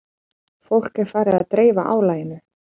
Fólk er farið að dreifa álaginu